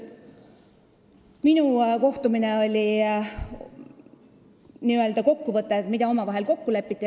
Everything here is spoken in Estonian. Minu kohtumine oli n-ö kokkuvõte sellest, milles omavahel kokku lepiti.